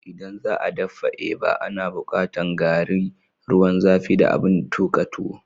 ldan za'a daffa eba, ana bukatan garri, ruwan zafi da abin tukan tuwo